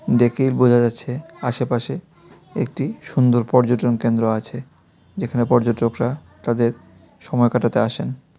দেখেই বোঝা যাচ্ছে আশেপাশে একটি সুন্দর পর্যটন কেন্দ্র আছে যেখানে পর্যটকরা তাদের সময় কাটাতে আসেন.